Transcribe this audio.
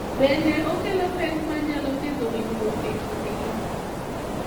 Bende, okelo pek ma nyalo ketho winjruok e kindgi.